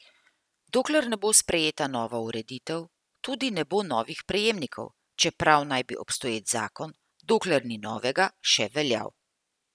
Dokler ne bo sprejeta nova ureditev, tudi ne bo novih prejemnikov, čeprav naj bi obstoječ zakon, dokler ni novega, še veljal.